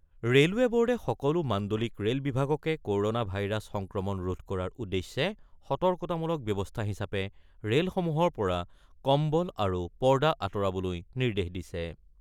Railway ব'ৰ্ডে সকলো মাণ্ডলিক ৰে'ল বিভাগকে ক'ৰনা ভাইৰাছ সংক্ৰমণ ৰোধ কৰাৰ উদ্দেশ্যে সতৰ্কতামূলক ব্যৱস্থা হিচাপে ৰে'লসমূহৰ পৰা কম্বল আৰু পৰ্দা আঁতৰাবলৈ নিৰ্দেশ দিছে।